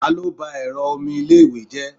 talo ba ẹrọ omi ilé iwe je?